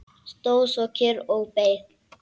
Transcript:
Stóð svo kyrr og beið.